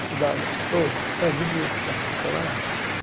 Estudava, oh é de dia eu estudava, não trabalhava.